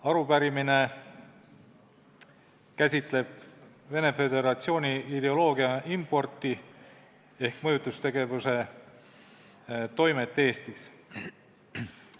Arupärimine käsitleb Vene Föderatsiooni ideoloogia importi ehk mõjutustegevuse toimet Eestis.